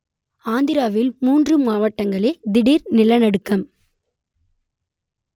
ஆந்திராவில் மூன்று மாவட்டங்களில் திடீர் நிலநடுக்கம்